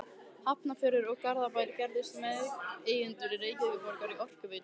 Hafnarfjörður og Garðabær gerðust meðeigendur Reykjavíkurborgar í Orkuveitu